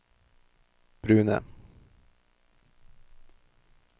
brune